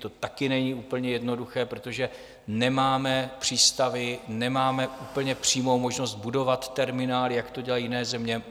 To taky není úplně jednoduché, protože nemáme přístavy, nemáme úplně přímou možnost budovat terminály, jak to dělají jiné země.